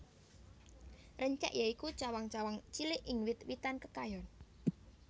Rencek ya iku cawang cawang cilik ing wit witan kekayon